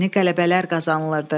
Yeni qələbələr qazanılırdı.